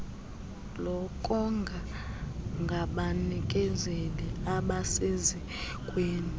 lokonga ngabanikezeli abasesikweni